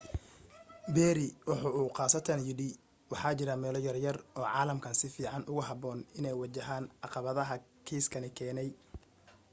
perry waxa uu khaasatan yidhi waxa jira meelo yaryar oo caalamkan si fiican ugu habboon inay waajahaan caqabadaha kiiskani keenay.